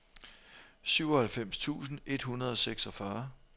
syvoghalvfems tusind et hundrede og seksogfyrre